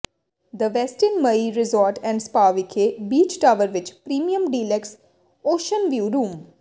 the Westin Maui resort and spa ਵਿਖੇ beach tower ਵਿਚ premium deluxe ocean view room